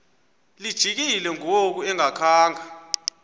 lijikile ngoku engakhanga